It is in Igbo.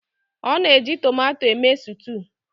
a na-eji tomato eme sutu